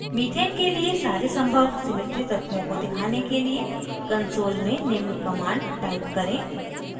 methane के लिए सारे संभव symmetry तत्वों को दिखाने के लिए: console में निम्न command type करें